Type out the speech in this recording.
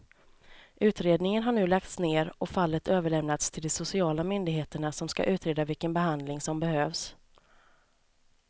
Utredningen har nu lagts ner och fallet överlämnats till de sociala myndigheterna som ska utreda vilken behandling som behövs.